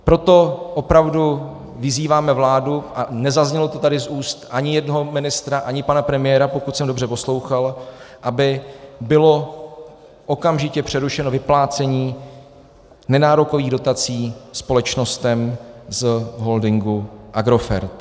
Proto opravdu vyzýváme vládu - a nezaznělo to tady z úst ani jednoho ministra, ani pana premiéra, pokud jsem dobře poslouchal - aby bylo okamžitě přerušeno vyplácení nenárokových dotací společnostem z holdingu Agrofert.